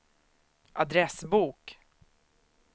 adressbok